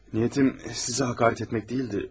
Niyyətim sizə hakaret etmək deyildi.